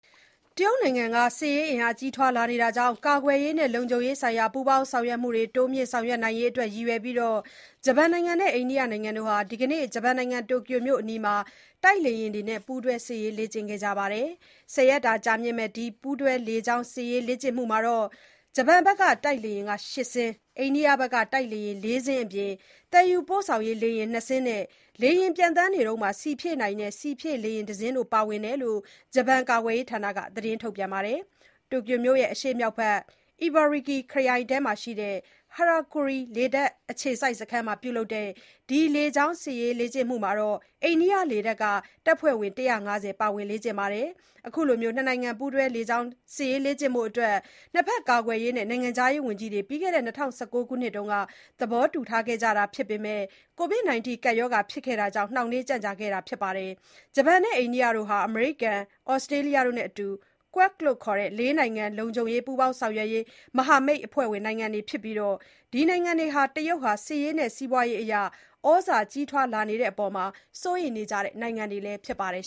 တရုတ်နိုင်ငံက စစ်ရေးအင်အား ကြီးထွားလာနေတာကြောင့် ကာကွယ်ရေးနဲ့ လုံခြုံရေးဆိုင်ရာ ပူးပေါင်းဆောင်ရွက်မှုတွေ တိုးမြင့်ဆောင်ရွက်နိုင်ရေးအတွက် ရည်ရွယ်ပြီး ဂျပန်နဲ့ အိန္ဒိယနိုင်ငံတို့ဟာ ဒီကနေ့ တိုကျိုမြို့အနီးမှာ တိုက်လေယာဉ်တွေနဲ့ ပူးတွဲ စစ်ရေးလေ့ကျင်ခဲ့ကြပါတယ်။ ၁၁ ရက်ကြာမယ့် ဒီပူးတွဲလေကြောင်း စစ်ရေးလေ့ကျင့်မှုမှာ ဂျပန်က တိုက်လေယာဉ် ၈ စင်း၊ အိန္ဒိယက တိုက်လေယာဉ် ၄ စင်းတို့အပြင် သယ်ယူပို့ဆောင်ရေးလေယာဉ် ၂ စင်းနဲ့ လေယာဉ်ပျံသန်းနေတုန်း ဆီဖြည့်နိုင်တဲ့ ဆီဖြည့်လေယာဉ်တစင်းတို့ ပါဝင်တယ်လို့ ဂျပန်ကာကွယ်ရေးဌာနက သတင်းထုတ်ပြန်ပါတယ်။ တိုကျိုမြို့ရဲ့ အရှေ့မြောက်ဘက် အီဘာရာကီ (Ibaraki) ခရိုင်အတွင်းမှာရှိတဲ့ ဟီရာကူရီ (Hyakuri) လေတပ်အခြေစိုက်စခန်းမှာ ပြုလုပ်တဲ့ ဒီ လေကြောင်း စစ်ရေးလေ့ကျင့်မှုမှာ အိန္ဒိယလေတပ်က တပ်ဖွဲ့ဝင် ၁၅၀ ပါဝင် လေ့ကျင့်နေတာ ဖြစ်ပါတယ်။ အခုလို နှစ်နိုင်ငံ ပူးတွဲ လေကြောင်း စစ်ရေးလေ့ကျင့်ဖို့အတွက် နှစ်ဘက် ကာကွယ်ရေးနဲ့ နိုင်ငံခြားရေးဝန်ကြီးတွေ ပြီးခဲ့တဲ့ ၂၀၁၉ ခုနှစ်မှာ သဘောတူထားခဲ့ကြတာဖြစ်ပေမယ့် ကိုဗစ် ကပ်ရောဂါဖြစ်ခဲ့တာကြောင့် နှောင့်နှေး ကြန့်ကြာနေခဲ့တာပါ။ ဂျပန်နဲ့ အိန္ဒိယတို့ဟာ အမေရိကန်၊ သြစတြေးလျတို့နဲ့အတူ Quad လို့ခေါ်တဲ့ ၄ နိုင်ငံ လုံခြုံရေး ပူးပေါင်းဆောင်ရွက်ရေး မဟာမိတ်အဖွဲ့ဝင်နိုင်ငံတွေဖြစ်ကြပြီး ဒီနိုင်ငံတွေက တရုတ်နိုင်ငံဟာ စစ်ရေးနဲ့ စီးပွားရေးအရ သြဇာကြီးထွားလာနေတဲ့အပေါ် စိုးရိမ်နေကြတဲ့ နိုင်ငံတွေလည်း ဖြစ်ပါတယ်